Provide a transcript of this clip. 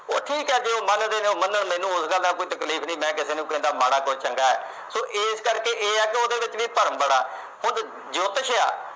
ਉੱਥੇ ਹੀ ਕਹਿ ਦਿਓ ਮੰਨਦੇ ਓ ਤਾਂ ਮੰਨੋ, ਮੈਨੂੰ ਉਸਦੇ ਨਾਲ ਕੋਈ ਤਕਲੀਫ ਨੀ। ਮੈਂ ਕਿਸੇ ਨੂੰ ਨੀ ਕਹਿੰਦਾ ਕੋਈ ਮਾੜਾ ਏ, ਕੋਈ ਚੰਗਾ ਏ। so ਇਹ ਕਰਕੇ ਇਹ ਆ ਕਿ ਉਹਦੇ ਵਿੱਚ ਵੀ ਭਰਮ ਬੜਾ। ਹੁਣ ਜੋਤਿਸ਼ ਆ